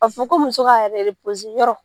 A bɛ fɔ ko muso ka yɛrɛ i yɔrɔ.